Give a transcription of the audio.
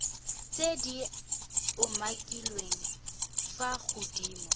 tse di umakiliweng fa godimo